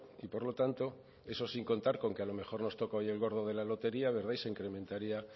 y por lo tanto eso sin contar con que a lo mejor nos toca hoy el gordo de la lotería verdad y se incrementaría